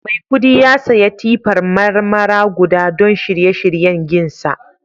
Mai kudi ya saya tippar Marmara guda don shirye shiryen ginsa